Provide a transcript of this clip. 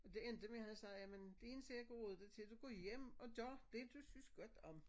Og det endte med han sagde jamen det eneste jeg kan råde dig til du går hjem og gør det du synes godt om